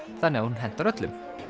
þannig að hún hentar öllum